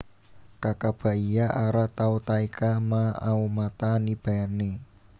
Kakabaia ara Tautaeka Ma aomata ni bane